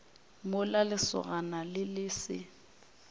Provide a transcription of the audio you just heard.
mola lesogana le le se